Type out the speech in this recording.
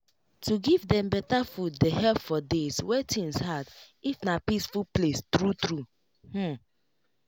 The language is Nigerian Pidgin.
to give dem better food dey help for days wey things hard if na peaceful place true true hmm